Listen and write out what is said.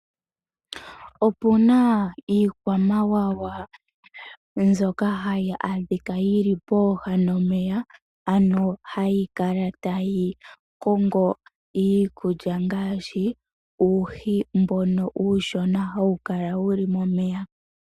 Opuna iikwamawawa mbyoka hayi adhika yili pooha nomeya ano hayi kala tayi kongo iikulya ngaashi uuhi mboka uushona hawu kala momeya.